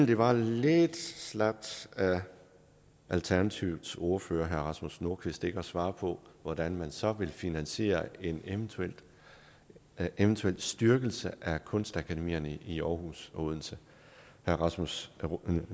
det var lidt slapt af alternativets ordfører herre rasmus nordqvist ikke at svare på hvordan man så vil finansiere en eventuel eventuel styrkelse af kunstakademierne i aarhus og odense herre rasmus